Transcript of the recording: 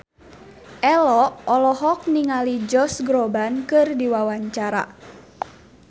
Ello olohok ningali Josh Groban keur diwawancara